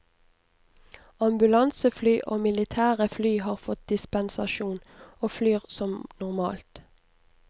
Ambulansefly og militære fly har fått dispensasjon, og flyr som normalt.